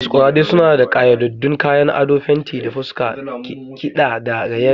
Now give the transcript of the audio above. Masqueraders suna da ƙayyadaddun kayan ado, fenti na fuska, kiɗa da raye-raye.